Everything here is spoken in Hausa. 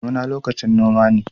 Damuna lokacin noma ne.